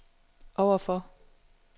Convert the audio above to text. overfor